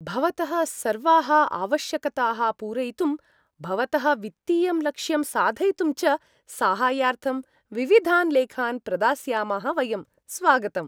भवतः सर्वाः आवश्यकताः पूरयितुं, भवतः वित्तीयं लक्ष्यं साधयितुं च साहाय्यार्थं विविधान् लेखान् प्रदास्यामः वयम्। स्वागतम्।